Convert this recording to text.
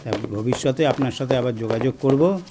তা ভবিষ্যতে আপনার সাথে আবার যোগাযোগ করবো